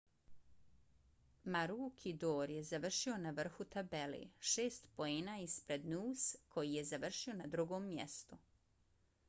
maroochydore je završio na vrhu tabele šest poena ispred noose koji je završio na drugom mjestu